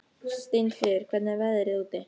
Steinfríður, hvernig er veðrið úti?